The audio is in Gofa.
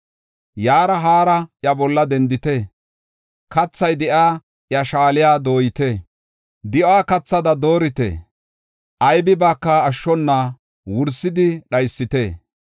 Yaara haara iya bolla dendite; kathay de7iya iya shaaliya dooyite; di7uwa kathada doorite; Aybibaaka ashshona wursidi dhaysite.